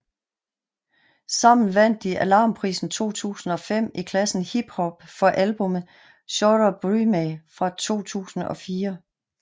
Sammen vandt de Alarmprisen 2005 i klassen hiphop for albumet Sjåre Brymæ fra 2004